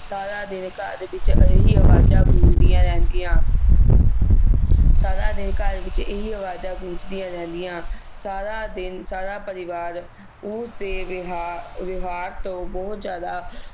ਸਾਰਾ ਦਿਨ ਘਰ ਵਿਚ ਇਹੀ ਆਵਾਜਾਂ ਗੂੰਜਦੀਆਂ ਰਹਿੰਦੀਆਂ ਸਾਰਾ ਦਿਨ ਘਰ ਵਿਚ ਇਹੀ ਆਵਾਜਾਂ ਗੂੰਜਦੀਆਂ ਰਹਿੰਦੀਆਂ ਸਾਰਾ ਦਿਨ ਸਾਰਾ ਪਰਿਵਾਰ ਉਸ ਦੇ ਵਿਹਾਰ ਵਿਹਵਾਰ ਤੋਂ ਬਹੁਤ ਜਿਆਦਾ